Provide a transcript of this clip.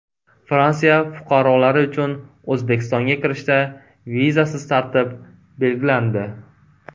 Fransiya fuqarolari uchun O‘zbekistonga kirishda vizasiz tartib belgilandi.